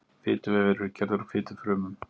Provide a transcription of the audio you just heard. Fituvefir eru gerðir úr fitufrumum.